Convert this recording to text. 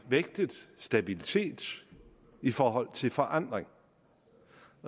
vægtet stabilitet i forhold til forandring